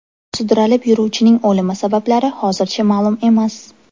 Sudralib yuruvchining o‘limi sabablari hozircha ma’lum emas.